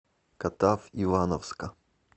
катав ивановска